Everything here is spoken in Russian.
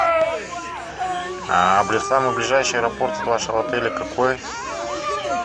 самый ближайший аэропорт от вашего отеля какой